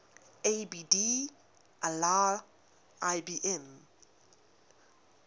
abd allah ibn